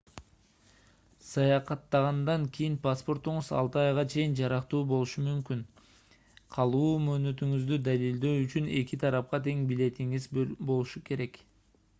саякаттагандан кийин паспортуңуз 6 айга чейин жарактуу болушу керек калуу мөөнөтүңүздү далилдөө үчүн эки тарапка тең билетиңиз болушу керек